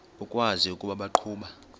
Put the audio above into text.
ukwazi ukuba baqhuba